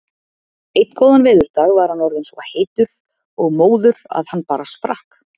Einn góðan veðurdag var hann orðinn svo heitur og móður að hann bara sprakk.